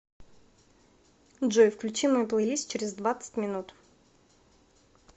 джой включи мой плейлист через двадцать минут